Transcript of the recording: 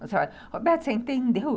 Roberto, você entendeu?